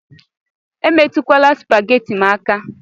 Emetukwala supagheti m aka